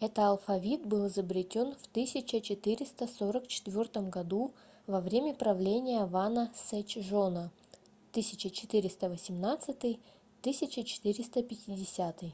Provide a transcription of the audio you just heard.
это алфавит был изобретён в 1444 году во время правления вана сечжона 1418-1450